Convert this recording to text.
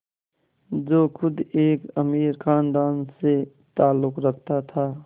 जो ख़ुद एक अमीर ख़ानदान से ताल्लुक़ रखता था